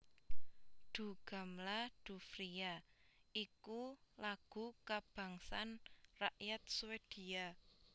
Du gamla Du fria iku lagu kabangsan rakyat Swedia